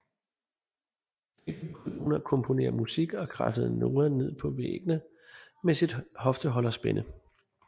I fængslet begyndte hun at komponere musik og kradsede noderne ned på væggene med sit hofteholderspænde